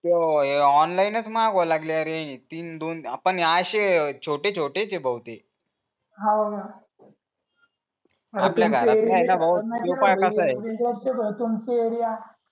हे ऑनलाईनच मांगवायला लागले आहे तीन दोन आपण आशे छोटे छोटेच आहो भाऊ ते हो न तुमचे